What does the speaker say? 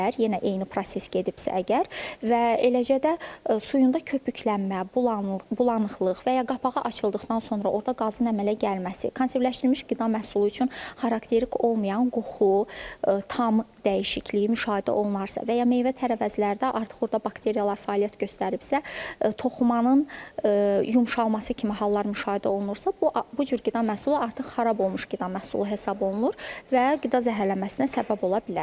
Yenə eyni proses gedibsə əgər və eləcə də suyunda köpüklənmə, bulanıqlıq və ya qapağı açıldıqdan sonra orda qazın əmələ gəlməsi, konservləşdirilmiş qida məhsulu üçün xarakterik olmayan qoxu, tam dəyişikliyi müşahidə olunarsa, və ya meyvə tərəvəzlərdə artıq orda bakteriyalar fəaliyyət göstəribsə, toxumanın yumşalması kimi hallar müşahidə olunursa, bu cür qida məhsulu artıq xarab olmuş qida məhsulu hesab olunur və qida zəhərlənməsinə səbəb ola bilər.